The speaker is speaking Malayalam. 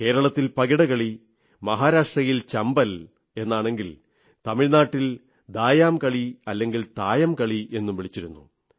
കേരളത്തിൽ പകിടകളി മഹാരാഷ്ട്രയിൽ ചമ്പൽ എന്നാണെങ്കിൽ തമിഴ്നാടിൽ ദായം കളി അല്ലെങ്കിൽ തായം കളി എന്നും വിളിച്ചിരുന്നു